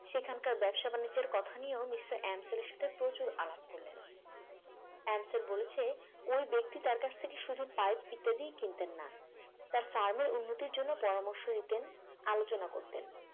সেখানকার ব্যবসা-বাণিজ্যের কথা নিয়েও মিস্টার এনসিলের এর সাথে প্রচুর আলাপ করলেন এনসিল বলছে ওই ব্যক্তি তার কাছ থেকে শুধু পাইপ ইত্যাদি কিনতেন না তার farm এর উন্নতির জন্য পরামর্শ দিতেন আলোচনা করতেন